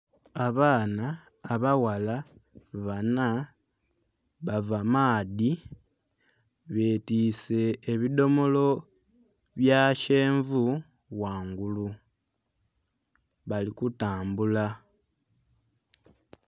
Abaana abaghala banha bava maadhi betiise ebidhomolo bya kyenvu ghangulu, bali kutambula.